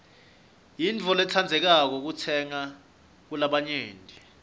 yintfo lentsandzekako kutsenga kulabanyenti